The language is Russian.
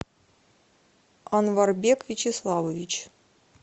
анварбек вячеславович